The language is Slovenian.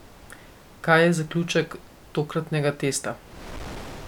Kaj je zaključek tokratnega testa?